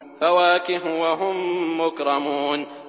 فَوَاكِهُ ۖ وَهُم مُّكْرَمُونَ